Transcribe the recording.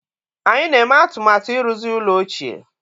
Anyị na-eme atụmatụ ịrụzi ụlọ ochie